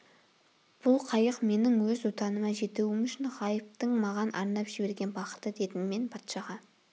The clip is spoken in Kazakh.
бұл қайық менің өз отаныма жетуім үшін ғайыптың маған арнап жіберген бақыты дедім мен патшаға